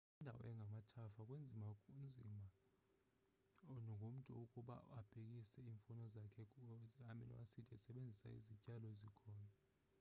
kwindawo engamathafa kunzima kunzima ngomntu ukuba abekise iimfuno zakhe ze-amino-acid esebenzisa izityalo ezikhoyo